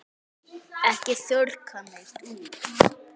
Ekki þurrka neitt út.